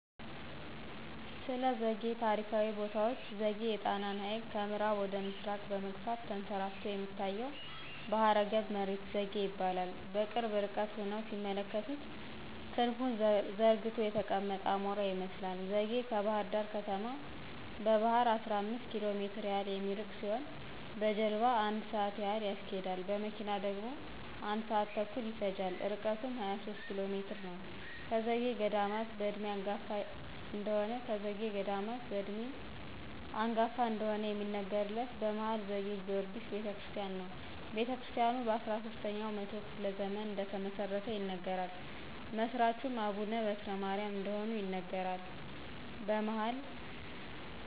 ስለዘጌ ታሪካዊ ቦታዎች ዘጌ የጣናን ሀይቅ ከምአራብ ወደ ምስራቅ በመግፋት ተንሰራፍቶ የሚታየው ባህረገብ መሬት ዘጌ ይባላል። በቅርብ ርቀት ሁነው ሲመለከቱት ክንፉን ዘርግቶ የተቀመጠ አሞራ ይመስላል ዘጌ ከባህርዳር ከተማ በባህር 15 ኪሎሜትር ያህል የሚርቅ ሲሆን በጀልባሞ 1 ስአት ያህል ያስኬዳል። በመኪና ደግሞ 1 ስአት ተኩል ይፈጃል ርቀቱም 23 ኪሎሜትር ነዉ። ከዘጌ ገዳማት በእድሜ አንጋፋ እደሆነ ከዘጌ ገዳማት በእድሜ አንጋፋ እደሆነ የሚነገርለት የመሀል ዘጌ ጊወርጊስ ቤተክርስቲያን ነው። ቤተክርስታያኑ በ13 ኛው መቶ ክፍለ ዘመን እደተመሰረተ ይነገራል። መስራቹም አቡነ በትረማርያም እደሆኑ ይነገራል። በመሀል